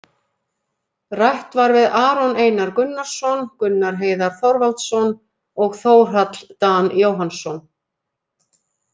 Rætt var við Aron Einar Gunnarsson, Gunnar Heiðar Þorvaldsson og Þórhall Dan Jóhannsson,